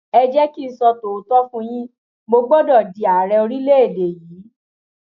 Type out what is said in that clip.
ẹ jẹ kí n sọ tòótọ fún yín mo gbọdọ di ààrẹ orílẹèdè yìí